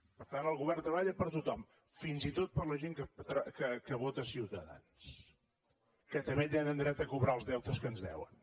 per tant el govern treballa per a tothom fins i tot per a la gent que vota ciutadans que també tenen dret a cobrar els deutes que ens deuen